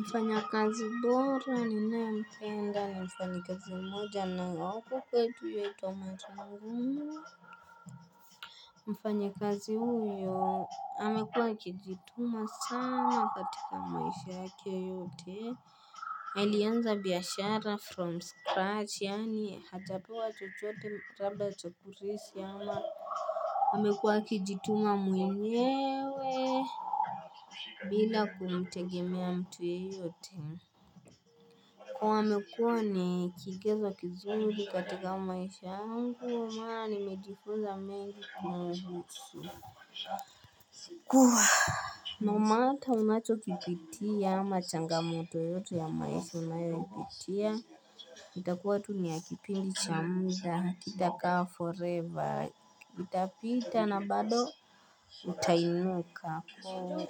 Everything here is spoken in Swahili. Mfanyakazi bora, ninayempenda, mfanyakazi mmoja na wako huku kwetu Tomato ngumu. Mfanya kazi huyo, amekuwa akijituma sana katika maishia yake yote. Alianza biashara from scratch, yaani hajapewa chochote labda kurisi ama amekuwa akijituma mwenyewe, bila kumtegemea mtu yeyote. Amekua ni kigezo kizuri katika maisha yangu Huwa mara, nimejifunza mengi ku maibutsu. Kwa, normata unacho kipitia ama changamoto yoyote ya maisha unayopitia. Itakuwa tu ni ya kipindi cha muda, kitakaa forever. Itapita na bado utainuka ko.